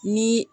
Ni